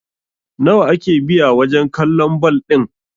nawa ake biya wajen kallon bal ɗin!?